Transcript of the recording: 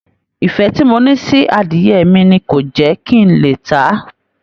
Ìfẹ́ tí mo ní sí adìyẹ mi ni kò jẹ́ kí n lè tà á